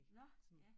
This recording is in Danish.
Nå ja